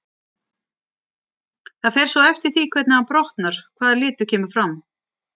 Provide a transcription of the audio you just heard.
Það fer svo eftir því hvernig hann brotnar hvaða litur kemur fram.